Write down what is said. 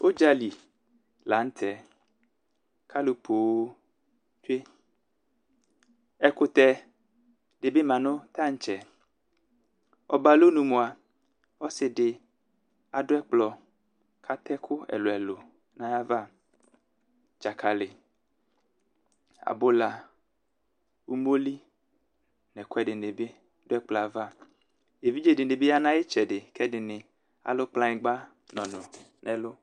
ũdzaLi la ñtẽ alũ pooo tsué ɛkũtɛ dibi manu tantsɛ ɔba alɔnũ mua ɔssi di adu ekplɔ katɛ kũ nayava dzakali abula umoli n'ɛku edini bi du ɛkplo ava evidze dini bi ya nayitsedi k'edini alũ kplagnigba nɔnu nelu